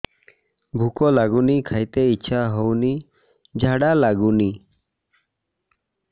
ଭୁକ ଲାଗୁନି ଖାଇତେ ଇଛା ହଉନି ଝାଡ଼ା ଲାଗୁନି